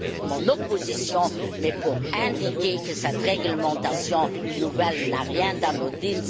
mon opposition, mais pour indiquer que cette réglementation nouvelle n'a rien d'anodin